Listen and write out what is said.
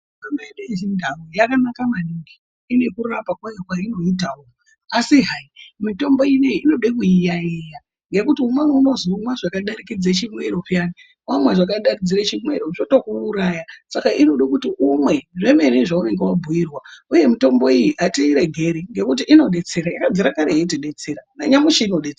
Mitombo yedu yechindau yakanaka maningi ine kurapa kwayo kwainoitavo. Asi hai mitombo inoiyi inode kuiyaiya ngekuti umweni unozomwa zvakadarikidze chimwero peyani vamwa zvakadarikidzire chimwero zvotokuuraya. Saka inode kuti umwe zvemene zvaunenge vabhuirwa uye mitombo iyi hatiiregeri nekuti inobetsera, yakabvira kare yeiti betsera nanyamushi inobetsera.